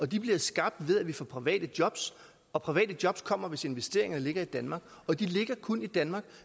de bliver skabt ved at vi får private jobs og private jobs kommer hvis investeringerne ligger i danmark og de ligger kun i danmark